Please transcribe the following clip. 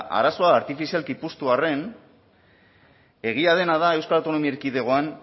arazoa artifizialki puztu arren egia dena da euskal autonomia erkidegoan